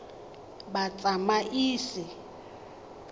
batsamaisi